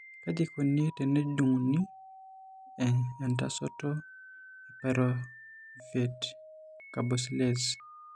Kaji eikoni tenejung'uni entasato ePyruvate carboxylase?